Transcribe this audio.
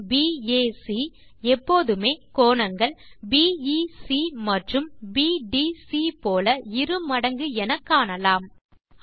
கோணம் பாக் எப்போதுமே கோணங்கள் பிஇசி மற்றும் பிடிசி போல இரு மடங்கு என காணலாம்